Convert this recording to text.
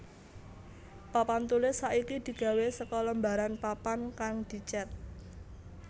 Papan tulis saiki digawé saka lembaran papan kang dicet